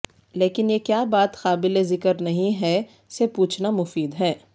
لیکن یہ کیا بات قابل ذکر نہیں ہے سے پوچھنا مفید ہے